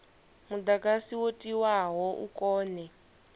mudagasi wo tiwaho u kone